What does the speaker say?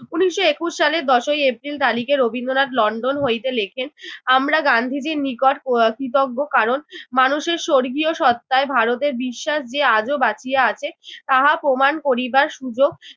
উনিশশো একুশ সালের দশই এপ্রিল তালিখে রবীন্দ্রনাথ লন্ডন হইতে লিখেন আমরা গান্ধীজির নিকট উহ কৃতজ্ঞ কারণ মানুষের স্বর্গীয় সত্ত্বায় ভারতের বিশ্বাস যে আজও বাঁচিয়া আছে তাহা প্রমাণ করিবার সুযোগ